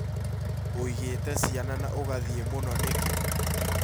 ũĩgĩte ciana na ũgathiĩ mũno nĩkĩ?